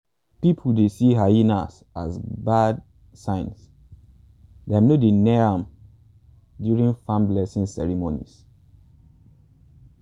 people dey see hyenas as bad signs dem no dey near am during farm blessing ceremonies.